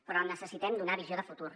però necessitem donar visió de futur